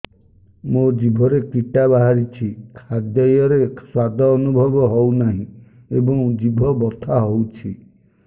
ମୋ ଜିଭରେ କିଟା ବାହାରିଛି ଖାଦ୍ଯୟରେ ସ୍ୱାଦ ଅନୁଭବ ହଉନାହିଁ ଏବଂ ଜିଭ ବଥା ହଉଛି